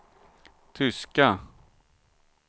tyska